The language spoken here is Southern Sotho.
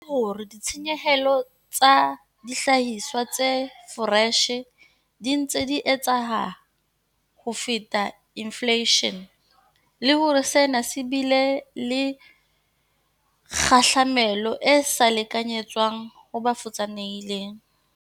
E hlokometse hore ditshenyehelo tsa dihlahiswa tse foreshe di ntse di eketseha ho feta infleishene, le hore sena se bile le kgahlamelo e sa lekanyetswang ho ba futsanehileng.